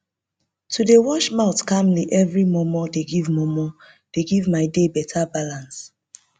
to dey wash mouth calmly every momo dey give momo dey give my day better balance